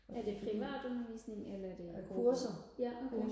er det privatundervisning eller er det ja okay